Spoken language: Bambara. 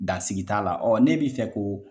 Dansigi t'a la ne b'i fɛ ko